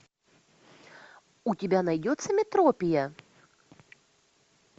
у тебя найдется метропия